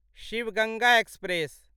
Shiv Ganga express